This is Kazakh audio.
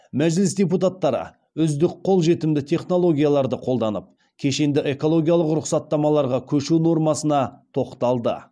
мәжіліс депутаттары үздік қолжетімді технологияларды қолданып кешенді экологиялық рұқсаттамаларға көшу нормасына тоқталды